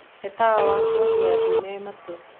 he tawa wa toni ya ndune matu